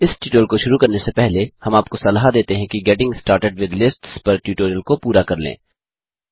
इस ट्यूटोरियल को शुरू करने से पहले हम आपको सलाह देते हैं कि गेटिंग स्टार्टेड विथ लिस्ट्स पर ट्यूटोरियल को पूरा कर लें